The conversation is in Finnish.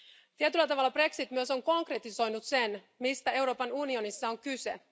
Tietyllä tavalla brexit myös on konkretisoinut sen, mistä Euroopan unionissa on kyse.